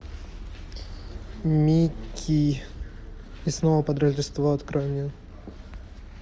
микки и снова под рождество открой мне